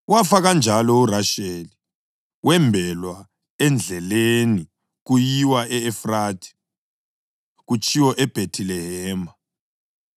Wafa kanjalo uRasheli wembelwa endleleni kuyiwa e-Efrathi (kutshiwo iBhethilehema.)